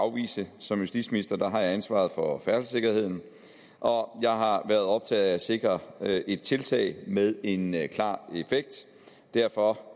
afvise som justitsminister har jeg ansvaret for færdselssikkerheden og jeg har været optaget af at sikre et tiltag med en klar effekt derfor